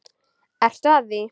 Ertu að því?